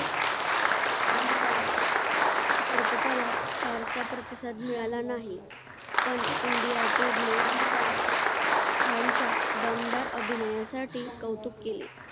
चित्रपटाला फारसा प्रतिसाद मिळाला नाही पण india tour ने खानच्या दमदार अभिनयासाठी कौतुक केले